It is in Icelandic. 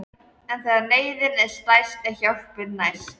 En þegar neyðin er stærst er hjálpin næst.